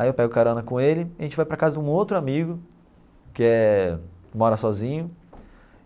Aí eu pego o carona com ele e a gente vai para casa de um outro amigo que é mora sozinho